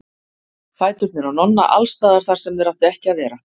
Fæturnir á Nonna alls staðar þar sem þeir áttu ekki að vera.